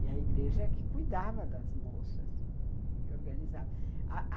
E a igreja que cuidava das moças e organizava a a